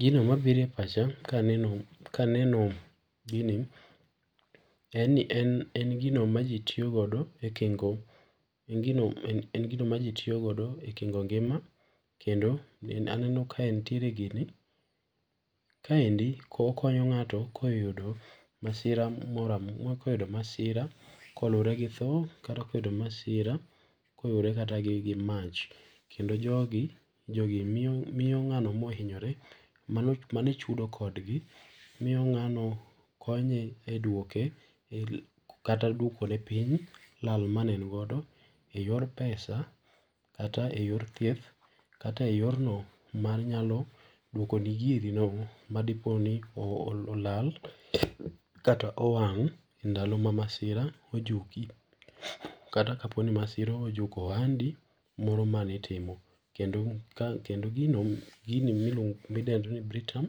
Gino mabiro e pacha ka aneno gini, en ni en gino ma ji tiyo godo, ekingo ngima kendo aneno ka entiere gini kaendo okonyo ngato ka oyudo masira ka oluwore gi tho kata koyudo masira koluwore kata gi mach, kendo jogi miyo ng'ano mohinyore mane chudo kodgi miyo ng'ano konye e duoke kata duoko ne piny lal mane en godo en yor pesa kata e yor thieth kata e yorno manyalo duoko ni girino madiponi olal kata owang e ndalo ma masira ojuki ,kata kaponi masira ojuko ohandi mano mane itimo, kendo gino ma iluongo ni Britam